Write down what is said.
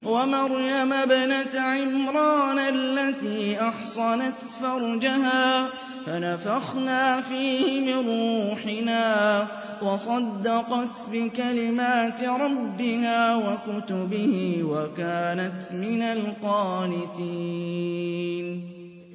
وَمَرْيَمَ ابْنَتَ عِمْرَانَ الَّتِي أَحْصَنَتْ فَرْجَهَا فَنَفَخْنَا فِيهِ مِن رُّوحِنَا وَصَدَّقَتْ بِكَلِمَاتِ رَبِّهَا وَكُتُبِهِ وَكَانَتْ مِنَ الْقَانِتِينَ